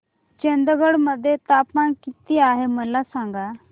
चंदगड मध्ये तापमान किती आहे मला सांगा